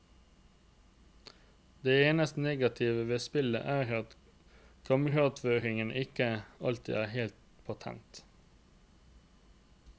Det eneste negative ved spillet er at kameraføringen ikke alltid er helt patent.